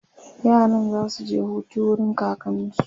yaran zasu je Hutu wurin kakansu